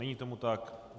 Není tomu tak.